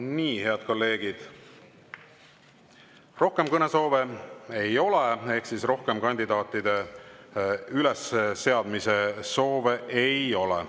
Nii, head kolleegid, rohkem kõnesoove ei ole ehk rohkem kandidaatide ülesseadmise soove ei ole.